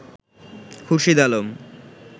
Khurshid Alam